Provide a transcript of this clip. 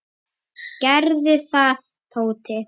Gerðu það, Tóti.